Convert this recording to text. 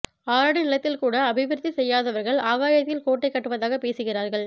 ஆறடி நிலத்தில் கூட அபிவிருத்தி செய்யாதவர்கள் ஆகாயத்தில் கோட்டை கட்டுவதாக பேசுகிறார்கள்